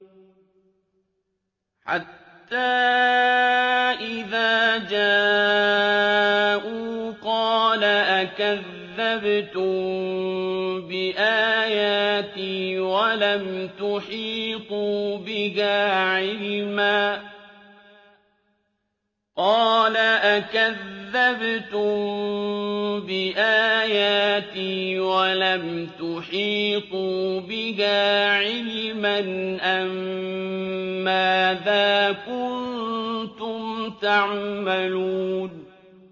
حَتَّىٰ إِذَا جَاءُوا قَالَ أَكَذَّبْتُم بِآيَاتِي وَلَمْ تُحِيطُوا بِهَا عِلْمًا أَمَّاذَا كُنتُمْ تَعْمَلُونَ